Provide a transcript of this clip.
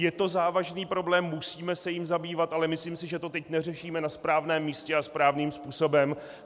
Je to závažný problém, musíme se jím zabývat, ale myslím si, že to teď neřešíme na správném místě a správným způsobem.